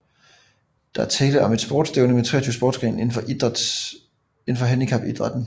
Der er tale om et sportstævne med 23 sportsgrene inden for handicapidrætten